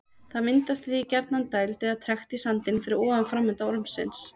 Það myndast því gjarnan gjarnan dæld eða trekt í sandinn fyrir ofan framenda ormsins.